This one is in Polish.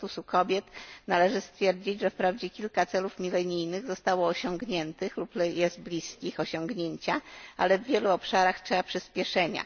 Statusu Kobiet należy stwierdzić, że wprawdzie kilka celów milenijnych zostało osiągniętych lub są bliskie osiągnięcia, ale w wielu obszarach potrzebne są przyspieszenia.